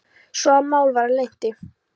svo að mál var að linnti.